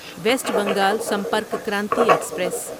waste Bengal Sampark Kranti express